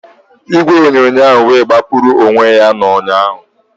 Igwe onyonyo wee gbapụrụ n'onwe ya ụnyahụ